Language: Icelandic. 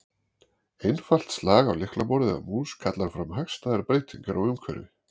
Einfalt slag á lyklaborð eða mús kallar fram hagstæðar breytingar á umhverfi.